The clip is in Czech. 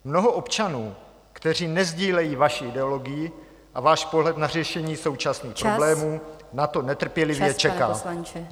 Mnoho občanů, kteří nesdílejí vaši ideologii a váš pohled na řešení současných problémů na to netrpělivě čeká.